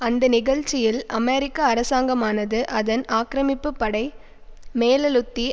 அந்த நிகழ்ச்சியில் அமெரிக்க அரசாங்கமானது அதன் ஆக்கிரமிப்பு படை மேலழுத்தி